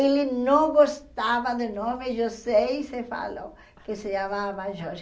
Ele não gostava do nome José e se falou que se chamava Jorge.